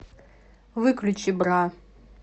выключи бра